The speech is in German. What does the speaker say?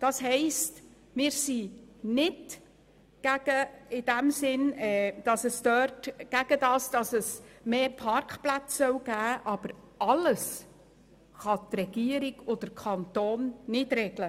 Das heisst, wir sind in diesem Sinn nicht dagegen, dass es mehr Parkplätze geben soll, aber alles können die Regierung und der Kanton nicht regeln.